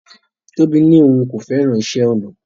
Tobi ní òun kò fẹ́ràn iṣẹ́-ọnà